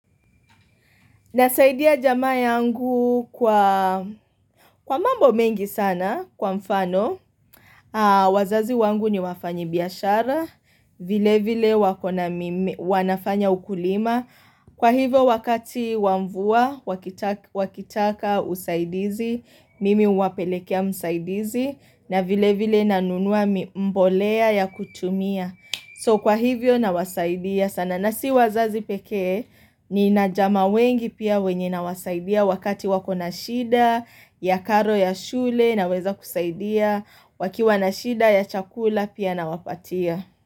Nasaidia jamaa yangu kwa mambo mengi sana kwa mfano. Wazazi wangu ni wafanyibiashara. Vile vile wako na mimea wanafanya ukulima. Kwa hivyo wakati wa mvua, wakitaka, usaidizi. Mimi huwapelekea msaidizi. Na vile vile nanunua mbolea ya kutumia. So kwa hivyo nawasaidia sana. Na si wazazi pekee nina jamaa wengi pia wenye nawasaidia wakati wako na shida ya karo ya shule naweza kusaidia wakiwa na shida ya chakula pia nawapatia.